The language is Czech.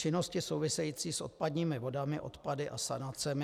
Činnosti související s odpadními vodami, odpady a sanacemi.